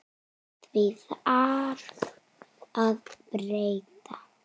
Því þarf að breyta.